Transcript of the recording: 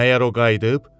Məyər o qayıdıb?